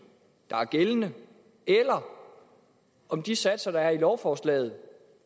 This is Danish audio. der er gældende eller om de satser der er i lovforslaget